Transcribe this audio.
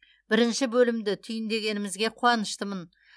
бірінші бөлімді түйіндегенімізге қуаныштымын